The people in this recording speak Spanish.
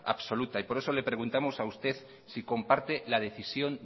absoluta por eso le preguntamos a usted si comparte la decisión